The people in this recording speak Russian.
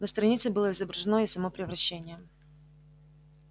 на странице было изображено и само превращение